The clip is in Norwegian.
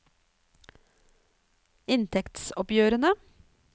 inntektsoppgjørene